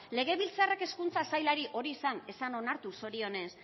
legebiltzarrak hezkuntza sailari hori ez zan onartu zorionez